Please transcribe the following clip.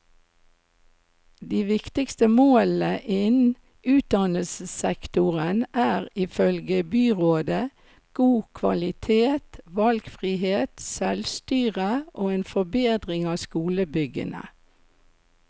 De viktigste målene innen utdannelsessektoren er, ifølge byrådet, god kvalitet, valgfrihet, selvstyre og en forbedring av skolebyggene.